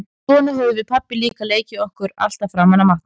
Svona höfðum við pabbi líka leikið okkur alltaf fram að matnum.